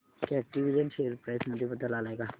कॅटविजन share price मध्ये बदल आलाय का